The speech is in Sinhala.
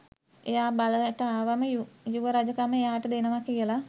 එයා බලයට ආවම යුව රජකම එයාට දෙනවා කියල